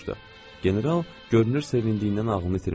General görünür sevindiyindən ağlını itirmişdi.